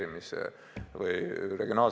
Enne seda on praktilisi samme väga raske teha.